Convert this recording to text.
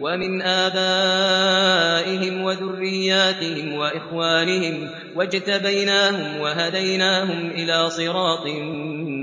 وَمِنْ آبَائِهِمْ وَذُرِّيَّاتِهِمْ وَإِخْوَانِهِمْ ۖ وَاجْتَبَيْنَاهُمْ وَهَدَيْنَاهُمْ إِلَىٰ صِرَاطٍ